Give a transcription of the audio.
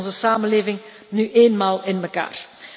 Zo zit onze samenleving nu eenmaal in elkaar.